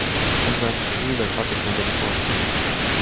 мы зашли достаточно далеко